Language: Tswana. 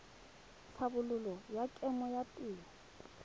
tlhabololo ya kemo ya theo